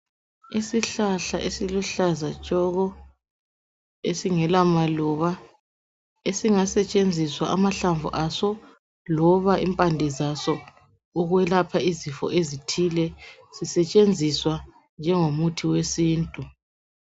Isihlahla esiluhlaza tshoko esingela maluba esingasetshenziswa amahlamvu aso loba impande zaso ukuyelapha izifo ezithile zisetshenziswa njengomuthi wesintu